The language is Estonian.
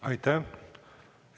Aitäh!